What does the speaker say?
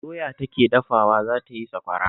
Doya take dakawa za ta yi sakwara